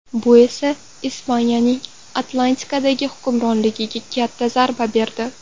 Bu esa Ispaniyaning Atlantikadagi hukmronligiga katta zarba berdi.